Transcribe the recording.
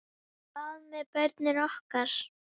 Hvað með börnin okkar?